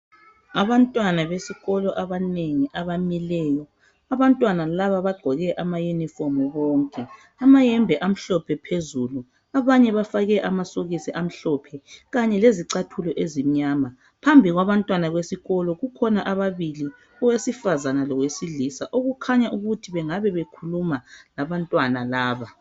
Abantwana besikolo abanengi abamileyo. Abantwana laba bagqoke amayunifomu bonke. Amayembe amhlophe phezulu. Abanye bafake amasokisi amhlophe, kanye lezicathulo ezimnyama. Phambili kwabantwana besikolo, kukhona ababili. Owesifazana lowesilisa. Okukhanya ukuthi bangabe bekhuluma labantwana laba.